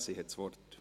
Sie hat das Wort.